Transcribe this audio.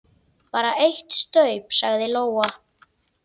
Bara eitt staup, sagði Lóa.